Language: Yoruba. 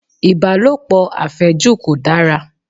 Ìbálòpọ̀ àfẹ́jù kò dára